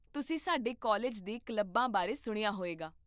ਤੁਸੀਂ ਸਾਡੇ ਕਾਲਜ ਦੇ ਕਲੱਬਾਂ ਬਾਰੇ ਸੁਣਿਆ ਹੋਵੇਗਾ